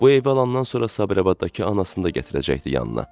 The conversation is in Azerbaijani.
Bu evə alandan sonra Sabirabaddakı anasını da gətirəcəkdi yanına.